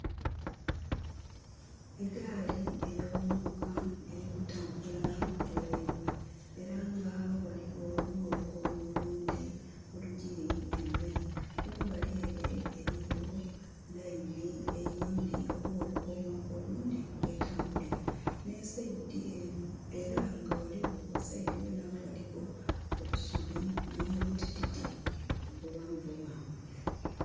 Egaali ey'omuuka eri kutambula ku railway. Era nga ghaligho n'olukomo olundhi olugili emberi. Kumbali ere eriyo line eyindi oba olukomo olundhi kwetambulira. Era nga gha side ghene agho ghaligho obusubi, n'obutititi bughanvu ghanvu